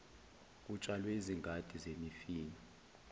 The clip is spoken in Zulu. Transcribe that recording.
kutshalwe izingadi zemifino